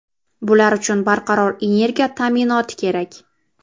Bular uchun barqaror energiya ta’minoti kerak.